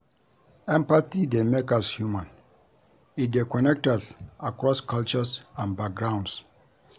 Empathy dey make us human; e dey connect us across cultures and backgrounds.